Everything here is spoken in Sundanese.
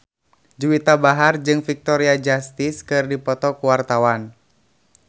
Juwita Bahar jeung Victoria Justice keur dipoto ku wartawan